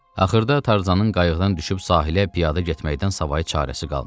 Axırda Tarzanın qayıqdan düşüb sahilə piyada getməkdən savayı çarəsi qalmadı.